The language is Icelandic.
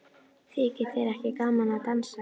Þykir þér ekki gaman að dansa?